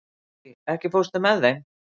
Rúbý, ekki fórstu með þeim?